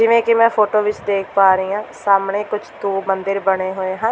ਜਿਵੇਂ ਕਿ ਮੈਂ ਫੋਟੋ ਵਿੱਚ ਦੇਖ ਪਾ ਰਹੀ ਹਾਂ ਸਾਹਮਣੇ ਕੁਝ ਦੋ ਮੰਦਰ ਬਣੇ ਹੋਏ ਹਨ।